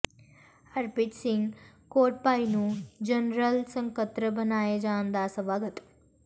ਹਰਪ੍ਰੀਤ ਸਿੰਘ ਕੋਟਭਾਈ ਨੂੰ ਜਨਰਲ ਸਕੱਤਰ ਬਣਾਏ ਜਾਣ ਦਾ ਸਵਾਗਤ